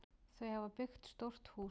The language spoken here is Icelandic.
Þau hafa byggt stórt hús.